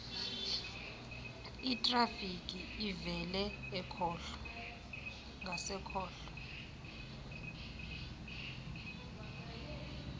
itrafiki evele ngasekhohlo